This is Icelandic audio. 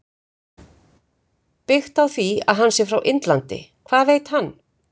Byggt á því að hann sé frá Indlandi- Hvað veit hann?